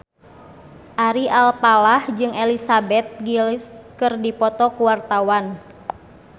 Ari Alfalah jeung Elizabeth Gillies keur dipoto ku wartawan